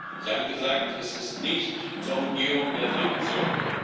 Sie haben gesagt Es ist nicht zur Umgehung der Sanktionen.